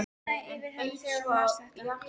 Það lifnaði yfir henni þegar hún las þetta.